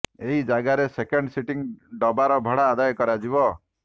ଏହି ଜାଗାରେ second sitting ଡବାର ଭଡା ଆଦାୟ କରାଯିବ